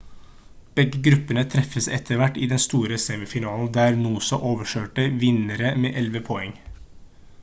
begge gruppene treffes etter hvert i den store semifinalen der noosa overkjørte vinnere med 11 poeng